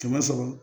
Kɛmɛ sɔrɔ